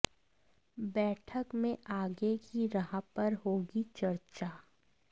बैठक में आगे की राह पर होगी चर्चा